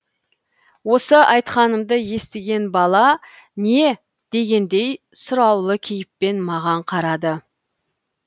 осы айтқанымды естіген бала не дегендей сұраулы кейіппен маған қарады